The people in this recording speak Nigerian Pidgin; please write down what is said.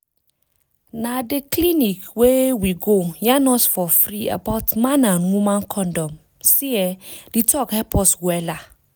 na dey clinic wey we go yarn us for freee about man and woman condom see[um]di talk help us wella.